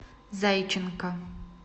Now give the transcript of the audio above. зайченко